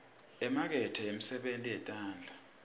imakethe yemisebenti yetandla